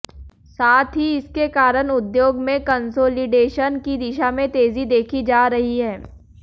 साथ ही इसके कारण उद्योग में कंसोलिडेशन की दिशा में तेजी देखी जा रही है